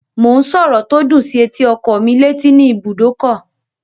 Mò ń sọ̀rọ̀ tó dùn sí etí ọkọ́ mí létí ní ibùdókọ̀